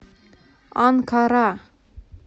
анкара